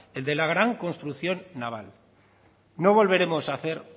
el de la gran construcción naval no volveremos a hacer